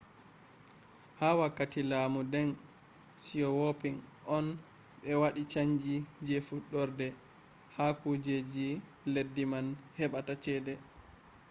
ha wakkati laamu deng siyawoping on ɓe waɗi chanji je fuɗɗorde ha kujeji leddi man heɓata cede